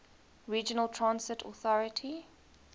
regional transit authority